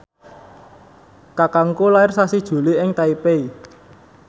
kakangku lair sasi Juli ing Taipei